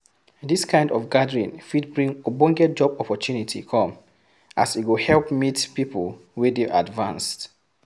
Dis kind of gathering fit bring ogbonge job opportunity come as e go help meet people wey dey advanced